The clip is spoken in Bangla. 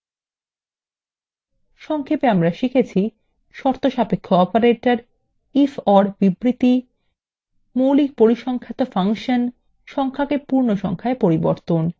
সংক্ষেপে আমরা শিখেছি